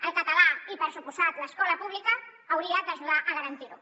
el català i per descomptat l’escola pública hauria d’ajudar a garantir ho